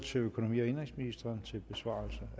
til økonomi og indenrigsministeren til besvarelse